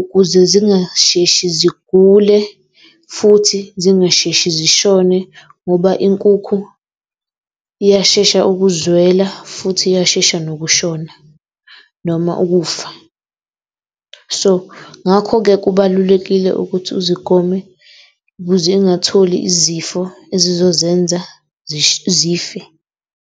ukuze zingasheshi zigule futhi zingasheshi zishone ngoba inkukhu iyashesha ukuzwela futhi iyashesha nokushona noma ukufa. So ngakho-ke, kubalulekile ukuthi uzigome ukuze ingatholi izifo ezizozenza zife.